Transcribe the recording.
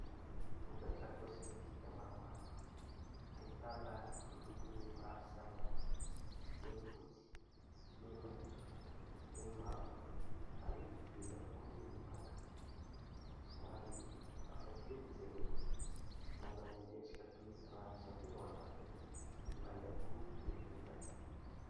Vokatra kosmetika maromaro ahitana amin'ny lokony maro samy hafa eo ny fotsy, eo ny maitso, eo ny mavo ary eo ihany koa ny manga, somary hafakely izy ireo manana endrika toy ny rano izany, ny ao anatiny na ihany koa toy ny menaka.